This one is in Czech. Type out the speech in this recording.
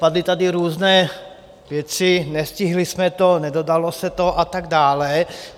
Padly tady různé věci, nestihli jsme to, nedodalo se to a tak dále.